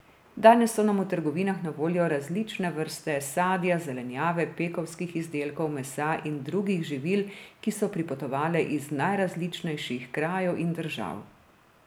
Danes so nam v trgovinah na voljo različne vrste sadja, zelenjave, pekovskih izdelkov, mesa in drugih živil, ki so pripotovale iz najrazličnejših krajev in držav.